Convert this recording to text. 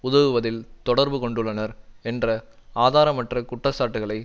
உதவுவதில் தொடர்பு கொண்டுள்ளனர் என்ற ஆதாரமற்ற குற்றச்சாட்டுகளை